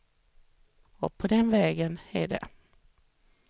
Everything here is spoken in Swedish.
Och på den vägen är det.